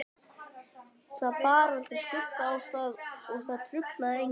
Það bar aldrei skugga á það og það truflaði engan.